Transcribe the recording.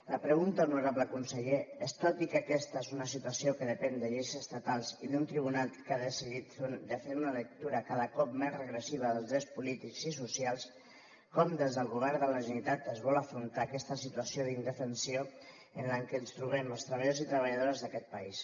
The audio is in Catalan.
la pregunta honorable conseller és tot i que aquesta és una situació que depèn de lleis estatals i d’un tribunal que ha decidit de fer una lectura cada cop més regressiva dels drets polítics i socials com des del govern de la generalitat es vol afrontar aquesta situació d’indefensió en la que ens trobem els treballadors i treballadores d’aquest país